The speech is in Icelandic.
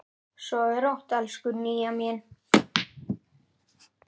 Sofðu rótt, elsku Nýja mín.